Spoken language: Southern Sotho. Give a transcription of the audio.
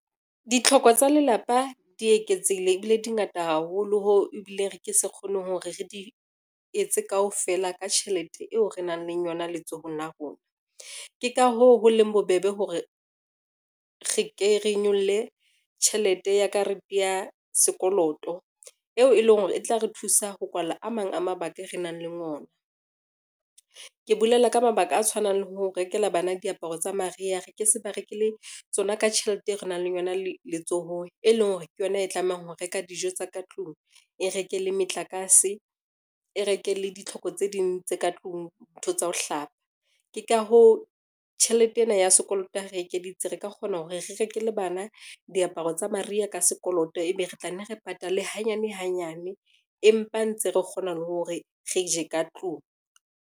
Ditlhoko tsa lelapa di eketsehile ebile di ngata haholo hoo ebile re ke sa kgoneng hore re di etse kaofela ka tjhelete eo re nang leng yona letsohong la rona. Ke ka hoo, ho leng bobebe hore re ke re nyolle tjhelete ya karete ya sekoloto, eo e leng hore e tla re thusa ho kwala a mang a mabaka e re nang le ona. Ke bolela ka mabaka a tshwanang le ho rekela bana diaparo tsa mariha, re ke se ba rekele tsona ka tjhelete eo re nang le yona le letsohong, e leng hore ke yona e tlamehang ho reka dijo tsa ka tlung, e reke le metlakase, e reke le ditlhoko tse ding tse ka tlung ntho tsa ho hlapa. Ke ka hoo tjhelete ena ya sekoloto ha re ekeditse, re ka kgona hore re rekele bana diaparo tsa mariha ka sekoloto, ebe re tlanne re patale hanyane hanyane, empa ntse re kgona le hore re je ka tlung.